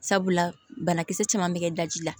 Sabula banakisɛ caman bɛ kɛ daji la